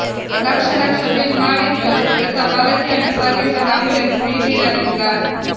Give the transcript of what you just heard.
lakh lakh bill ಮಾಡಿದ್ರೂ ಮೃತ ಬಾಲಕಿಯನ್ನು ಸಾಗಿಸಲು ಆಂಬ್ಯುಲೆನ್ಸ್ ನೀಡಿರಲಿಲ್ಲ